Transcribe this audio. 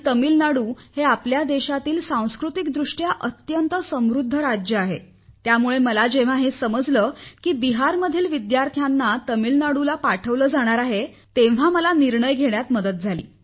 तामिळनाडू हे आपल्या देशातील सांस्कृतिकदृष्ट्या अत्यंत समृध्द राज्य आहे त्यामुळे मला जेव्हा हे समजले की बिहारमधील विद्यार्थ्यांना तामिळनाडूला पाठवले जाणार आहे तेव्हा मला निर्णय घेण्यात मदत झाली